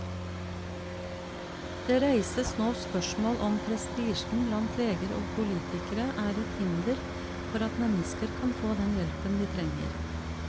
Det reises nå spørsmål om prestisjen blant leger og politikere er et hinder for at mennesker kan få den hjelpen de trenger.